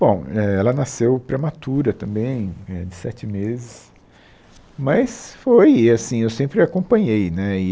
Bom eh, ela nasceu prematura também, é de sete meses, mas foi assim, eu sempre acompanhei, né? E